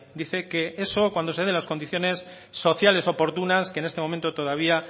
dice que eso cuando se den las condiciones sociales oportunas que en este momento todavía